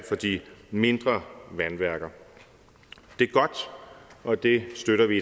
de mindre vandværker det er godt og det støtter vi